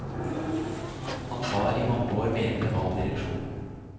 Han var i mange år medlem av direksjonen.